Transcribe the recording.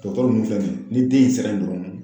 Dɔgɔtɔrɔw nunnu filɛ nin ye ni den in sera ye dɔrɔn